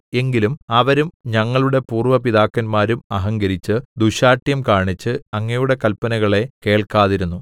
എങ്കിലും അവരും ഞങ്ങളുടെ പൂര്‍വ്വ പിതാക്കന്മാരും അഹങ്കരിച്ച് ദുശ്ശാഠ്യം കാണിച്ച് അങ്ങയുടെ കല്പനകളെ കേൾക്കാതിരുന്നു